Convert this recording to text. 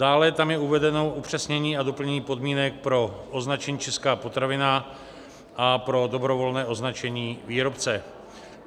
Dále je tam uvedeno upřesnění a doplnění podmínek pro označení Česká potravina a pro dobrovolné označení výrobce.